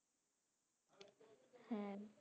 হ্যাঁ